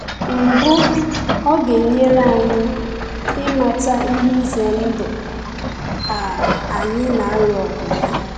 Mbụ, ọ ga-enyere anyị ịmata ihe ize ndụ um anyị na-alụ ọgụ ya.